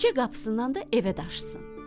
Küçə qapısından da evə daşısın.